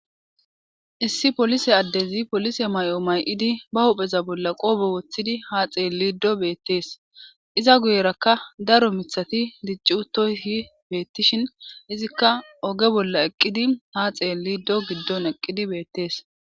issi polise addezi polise may7o may7idi ba hupheza bolla qoobo woththidi ha xeel liddo beettees iza guyerakka daro mithati diccutohi beettishin izikka oge bolla eqqidi ha xeel liido giddon eqqidi beettees